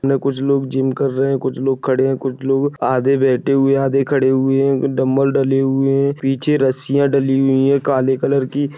सामने कुछ लोग जिम कर रहे है कुछ लोग खड़े है कुछ लोग आधे बैठे हुए है आधे खड़े हुए है डम्बल डले हुए है पीछे रस्सिया डली हुई है काले कलर की--